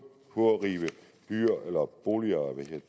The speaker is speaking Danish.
at rive boliger